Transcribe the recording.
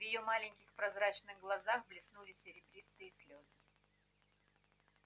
в её маленьких прозрачных глазах блеснули серебристые слёзы